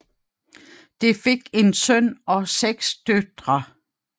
De fik én søn og seks døtre